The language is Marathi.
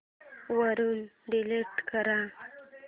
वरून डिलीट कर